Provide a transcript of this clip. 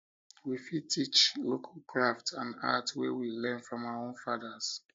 we fit teach local craft and art wey we learn from our own fathers